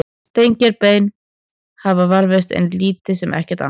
Steingerð bein þeirra hafa varðveist en lítið sem ekkert annað.